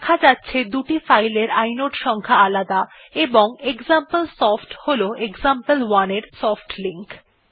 দেখা যাচ্ছে দুটি ফাইল এর ইনোড সংখ্যা আলাদা এবং এক্সাম্পলসফট হল এক্সাম্পল1 এর সফটলিঙ্ক